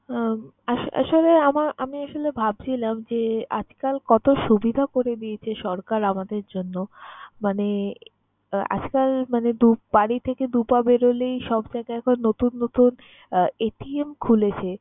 উম আস~ আসলে আমার আমি আসলে ভাবছিলাম যে, আজকাল কত সুবিধা করে দিয়েছে সরকার আমাদের জন্য মানে আজকাল মানে দু বাড়ি থেকে দু পা বেরোলেই সব জায়গায় এখন নতুন নতুন আহ খুলেছে।